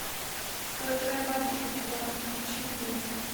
кто твоя бабушка чувак включи мне